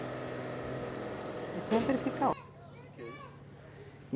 E sempre fica ó